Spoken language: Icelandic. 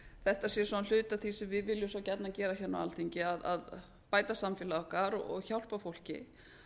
þetta sé hluti af því sem við viljum svo gjarnan gera á alþingi að bæta samfélag okkar og hjálpa fólki